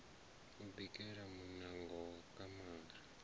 u bikela muṋango wa kamara